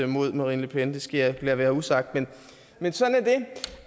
mod marine le pen det skal jeg lade være usagt men sådan